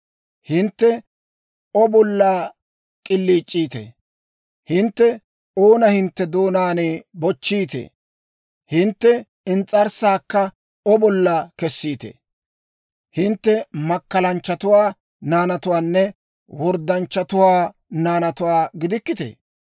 Hintte O bolla k'iliic'iitee? Hintte oona hintte doonaan bochchiitee? Hintte ins's'arssaakka O bolla kessiitee? Hintte makkalanchchatuwaa naanatuwaanne worddanchchatuwaa naanatuwaa gidikkitee?